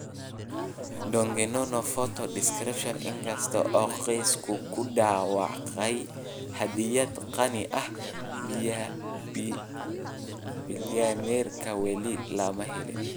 Donge nono Photo description, In kasta oo qoysku ku dhawaaqay hadiyad qani ah, bilyaneerka weli lama helin.